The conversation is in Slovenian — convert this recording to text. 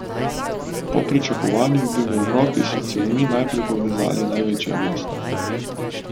Po pričakovanjih bi v Evropi s cevmi najprej povezali največja mesta.